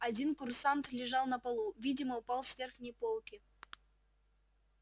один курсант лежал на полу видимо упал с верхней полки